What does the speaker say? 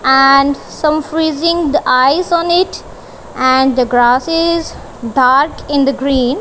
and some freezing the eyes on it and the grasses dark in the green.